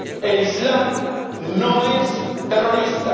El islam no es terrorista.